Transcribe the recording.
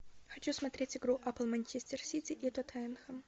хочу смотреть игру апл манчестер сити и тоттенхэм